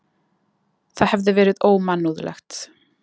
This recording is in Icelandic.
Það hefði verið ómannúðlegt.